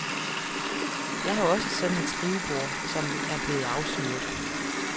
Jeg har også sådan et skrivebord, som er blevet afsyret.